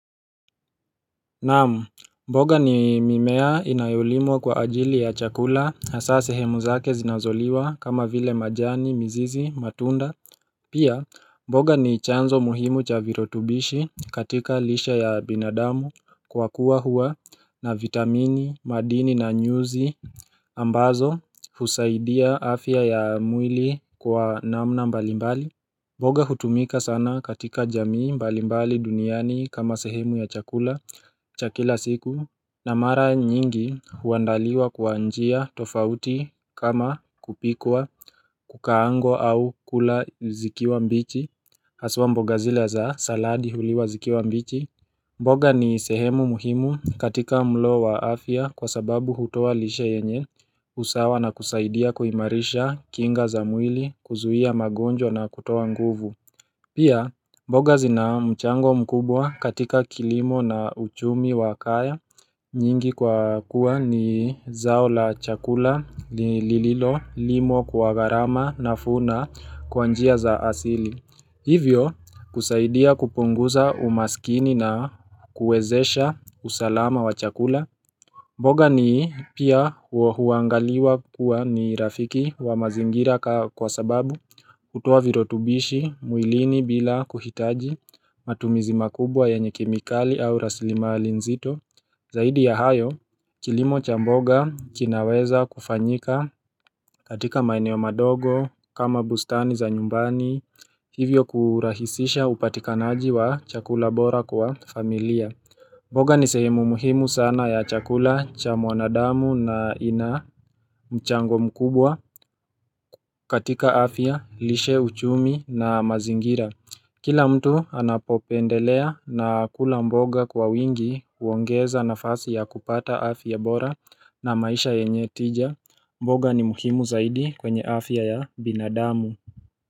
Naam, mboga ni mimea inayolimwa kwa ajili ya chakula hasa sehemu zake zinazoliwa kama vile majani, mizizi, matunda. Pia, mboga ni chanzo muhimu cha virutubishi katika lishe ya binadamu kwa kuwa huwa na vitamini, madini na nyuzi. Ambazo husaidia afya ya mwili kwa namna mbalimbali. Mboga hutumika sana katika jamii mbalimbali duniani kama sehemu ya chakula cha kila siku na mara nyingi huandaliwa kwa njia tofauti kama kupikwa kukaangwa au kula zikiwa mbichi Hasa mboga zile za saladi huliwa zikiwa mbichi mboga ni sehemu muhimu katika mlo wa afya kwa sababu hutoa lishe yenye usawa na kusaidia kuhimarisha kinga za mwili kuzuia magonjwa na kutoa nguvu. Pia, mboga zina mchango mkubwa katika kilimo na uchumi wa kaya nyingi kwa kuwa ni zao la chakula lililolimwa kwa gharama na vuna kwa njia za asili. Hivyo kusaidia kupunguza umaskini na kuwezesha usalama wa chakula mboga ni pia huangaliwa kuwa ni rafiki wa mazingira kwa sababu hutoa virutubishi mwilini bila kuhitaji matumizi makubwa yenye kemikali au rasilimali nzito Zaidi ya hayo, kilimo cha mboga kinaweza kufanyika katika maeneo madogo kama bustani za nyumbani Hivyo kurahisisha upatikanaji wa chakula bora kwa familia mboga ni sehemu muhimu sana ya chakula cha mwanadamu na ina mchango mkubwa katika afya, lishe, uchumi na mazingira Kila mtu anapopendelea na kula mboga kwa wingi huongeza nafasi ya kupata afya bora na maisha yenye tija mboga ni muhimu zaidi kwenye afya ya binadamu.